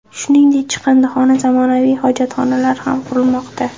Shuningdek, chiqindixona, zamonaviy hojatxonalar ham qurilmoqda.